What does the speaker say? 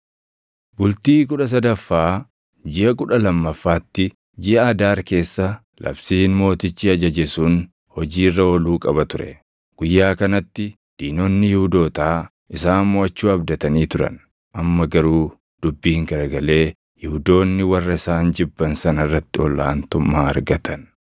Bultii kudha sadaffaa jiʼa kudha lammaffaatti, jiʼa Adaar keessa labsiin mootichi ajaje sun hojii irra ooluu qaba ture. Guyyaa kanatti diinonni Yihuudootaa isaan moʼachuu abdatanii turan; amma garuu dubbiin garagalee Yihuudoonni warra isaan jibban sana irratti ol aantummaa argatan.